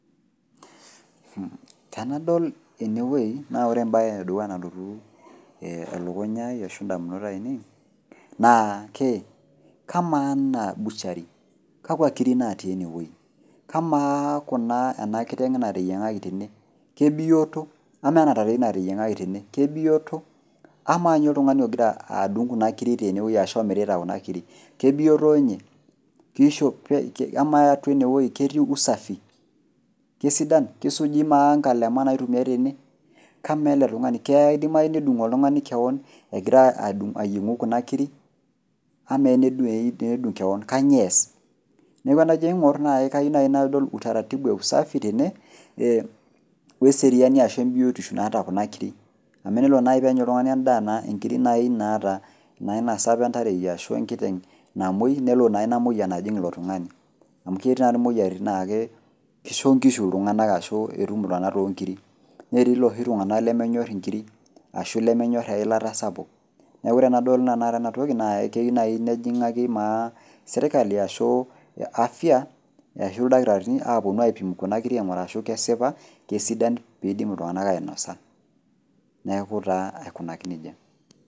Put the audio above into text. Tenadol enewuei na ore embaye e dukuya nalotu elukunya ai ashu indamunot ainei naake kamaa anaa  butchery, kakwa kiri natii enewuei? Kamaa kuna ena kiteng' nateyieng'aki tene, kebioto ? Amaa ena tarei nateyieng'aki tene kebioto? Amaa ninye oltung'ani ogira adung' kuna kiri tenewuei ashu omirita kuna kiri kebioto ninye ? Keishope, amaa atua enewuei ketii usafi ? Kesuuji maa nkalema naitumiai tene ? Kamaa ele tung'ani keidimayu nedung' oltung'ani kewon egira adung' ayieng'u kuna kiri? Ama tenedung' kewon kanyoo eas ? Neaku enajo aing'orr kayou nai nadol  utaratibu e usafi tene ee oeseriani ashu embiotishu naata kuna kiri. Amu enelo nai nenya oltung'ani endaa naa inkiri nai naata naa inasapa entareiya ashu enkiteng' namuoi nelo naa imoyian ajing' ilo tung'ani. Amu ketii tadii moyaritin naake keisho nkishu iltung'ana ashu etum iltung'ana toonkiri, netii loshi tung'ana lemenyorr inkiri ashu lemenyorr eilata sapuk neaku ore nadol tenakata enatoki naa eyiu nai keyou nai nejing'aki maa serkali ashuu afya ashu ildakitarini aapuonu aipim kuna kiri aing'uraa ashu kesipa, kesidan peeidim iltung'ana ainosa. Neaku taa aikunaki neija.